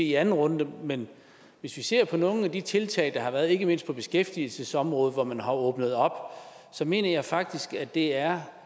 i anden runde men hvis vi ser på nogle af de tiltag der har været ikke mindst på beskæftigelsesområdet hvor man har åbnet op så mener jeg faktisk at det er